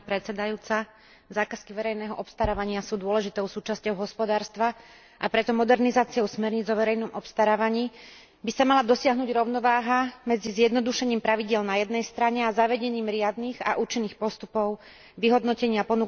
Zákazky verejného obstarávania sú dôležitou súčasťou hospodárstva, a preto modernizáciou smerníc o verejnom obstarávaní by sa mala dosiahnuť rovnováha medzi zjednodušením pravidiel na jednej strane a zavedením riadnych a účinných postupov vyhodnotenia ponúk na strane druhej.